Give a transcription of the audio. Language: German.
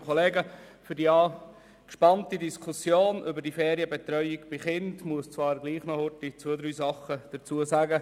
Zur angespannten Diskussion über die Ferienbetreuung von Kindern, muss ich gleichwohl noch zwei, drei Worte verlieren.